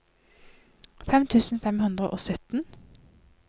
fem tusen fem hundre og sytten